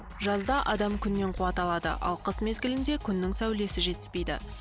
жазда адам күннен қуат алады ал қыс мезгілінде күннің сәулесі жетіспейді